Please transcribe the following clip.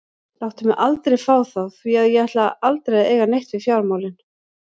Láttu mig aldrei fá þá því að ég ætla aldrei að eiga neitt við fjármálin.